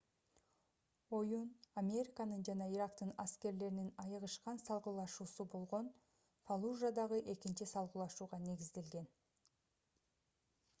оюн американын жана ирактын аскерлеринин айыгышкан салгылашуусу болгон фаллужадагы экинчи салгылашууга негизделген